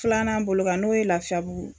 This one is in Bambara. Filanan bolo kan n'o ye lafiyabugu